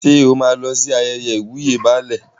Ṣé o máa lọ sí ayẹyẹ ìwúyè Baálẹ̀?